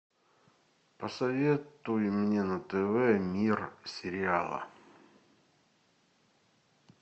посоветуй мне на тв мир сериала